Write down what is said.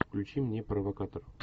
включи мне провокатор